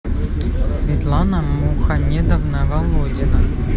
светлана мухамедовна володина